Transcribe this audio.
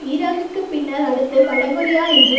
ஈராக்கிற்குப் பின்னர் அடுத்து வடகொரியா என்று